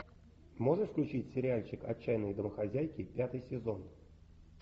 можешь включить сериальчик отчаянные домохозяйки пятый сезон